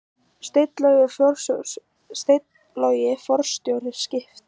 Steinn Logi forstjóri Skipta